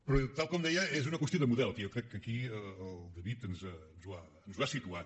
però tal com deia és una qüestió de model que jo crec que aquí el david ens ho ha situat